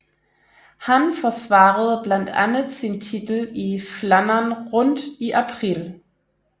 Han forsvarede blandt andet sin titel i Flandern Rundt i april